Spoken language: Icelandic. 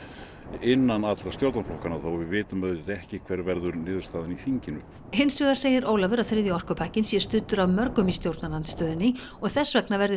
innan allra stjórnarflokkanna og við vitum auðvitað ekki hver verður niðurstaðan í þinginu hins vegar segir Ólafur að þriðji orkupakkinn sé studdur af mörgum í stjórnarandstöðunni og þess vegna verði